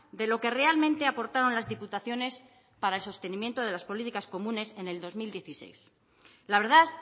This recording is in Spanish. de lo que realmente aportaron las diputaciones para el sostenimiento de las políticas comunes en el dos mil dieciséis la verdad